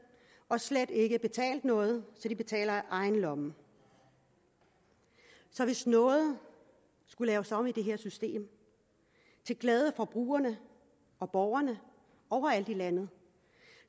og slet ikke få betalt noget så de betaler af egen lomme så hvis noget skulle laves om i det her system til glæde for brugerne og borgerne overalt i landet